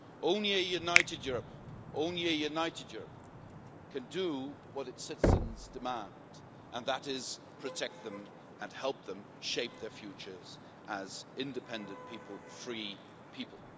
Only a united Europe can do what its citizens demand, and that is protect them and help them shape their futures as independent people free people.